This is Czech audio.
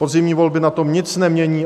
Podzimní volby na tom nic nemění.